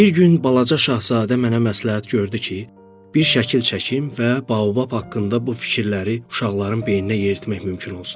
Bir gün balaca şahzadə mənə məsləhət gördü ki, bir şəkil çəkim və baobab haqqında bu fikirləri uşaqların beyninə yeritmək mümkün olsun.